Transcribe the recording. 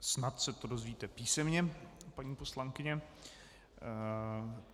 Snad se to dozvíte písemně, paní poslankyně.